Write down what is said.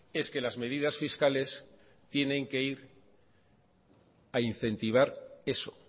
es que las medidas fiscales tienen que ir a incentivar eso